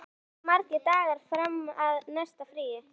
Ástrún, hversu margir dagar fram að næsta fríi?